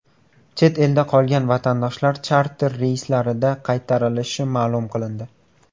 Chet elda qolgan vatandoshlar charter reyslarida qaytarilishi ma’lum qilindi.